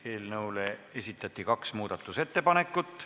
Eelnõu kohta esitati kaks muudatusettepanekut.